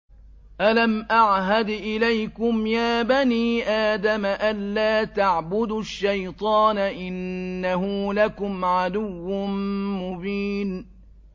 ۞ أَلَمْ أَعْهَدْ إِلَيْكُمْ يَا بَنِي آدَمَ أَن لَّا تَعْبُدُوا الشَّيْطَانَ ۖ إِنَّهُ لَكُمْ عَدُوٌّ مُّبِينٌ